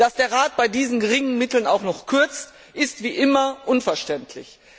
Dass der Rat bei diesen geringen Mitteln auch noch kürzt, ist wie immer unverständlich.